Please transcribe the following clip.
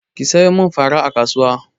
Ki sayo min fara a kasuwa!